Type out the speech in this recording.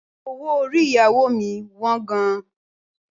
Owó orí ìyàwó mi wọ́n gan.